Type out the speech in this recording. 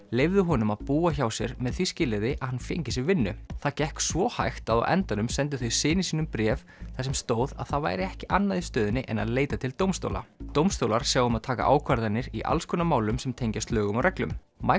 leyfðu honum að búa hjá sér með því skilyrði að hann fengi sér vinnu það gekk svo hægt að á endanum sendu þau syni sínum bréf þar sem stóð að það væri ekki annað í stöðunni en að leita til dómstóla dómstólar sjá um að taka ákvarðanir í alls konar málum sem tengjast lögum og reglum